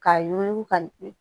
K'a yuguyugu ka